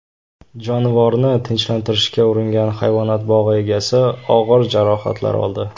Jonivorni tinchlantirishga uringan hayvonot bog‘i egasi og‘ir jarohatlar oldi.